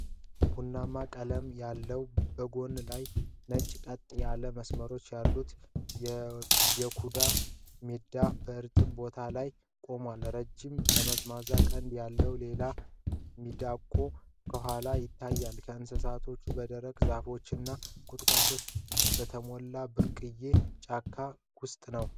ቡናማ ቀለም ያለውና በጎን ላይ ነጭ ቀጥ ያሉ መስመሮች ያለው የኩዱ ሚዳቋ በእርጥብ ቦታ ላይ ቆሟል። ረጅም ጠምዛዛ ቀንድ ያለው ሌላ ሚዳቋ ከኋላ ይታያል። እንስሳቱ በደረቁ ዛፎችና ቁጥቋጦዎች በተሞላ ብርቅዬ ጫካ ውስጥ አሉ።